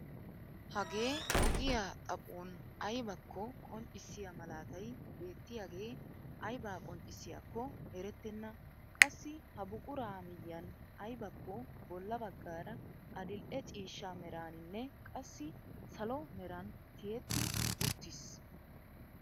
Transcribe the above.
Hagee ogiyaa xaphon aybakko qonccisiyaa malaatay beettiyaagee aybaa qonccisiyaakko erettenna. qassi ha buquraa miyiyaan aybakko bolla baggaara adil'e ciishsha meraaninne qassi salo meran tiyetti uttiis.